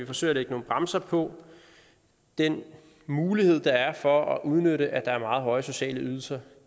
forsøger at lægge nogle bremser på den mulighed der er for at udnytte at der er meget høje sociale ydelser